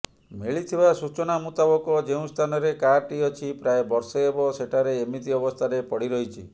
ମିଳିଥିବା ସୂଚନା ମୂତାବକ ଯେଉଁ ସ୍ଥାନରେ କାରଟି ଅଛି ପ୍ରାୟ ବର୍ଷେ ହେବ ସେଠାରେ ଏମିତି ଅବସ୍ଥାରେ ପଡିରହିଛି